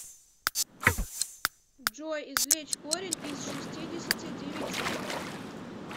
джой извлечь корень из шестидесяти девяти